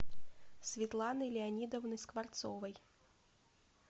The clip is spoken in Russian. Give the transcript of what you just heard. светланой леонидовной скворцовой